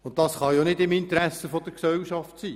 Und das kann ja nicht im Interesse der Gesellschaft sein.